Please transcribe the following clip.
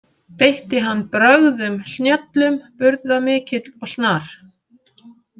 Beitti hann brögðum snjöllum burðamikill og snar.